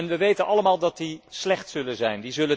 We weten allemaal dat die slecht zullen zijn.